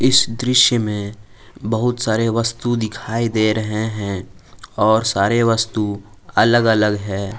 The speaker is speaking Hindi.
इस दृश्य में बहुत सारे वस्तु दिखाई दे रहे हैं और सारे वस्तु अलग अलग है।